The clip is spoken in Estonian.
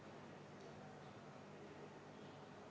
Aitäh, peaminister, nende vastuste eest!